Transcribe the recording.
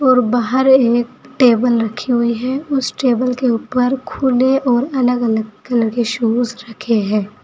और बाहर एक टेबल रखी हुई है उसे टेबल के ऊपर खुले और अलग अलग कलर के शूज रखे हैं।